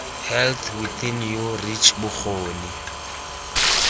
health within your reach bokgoni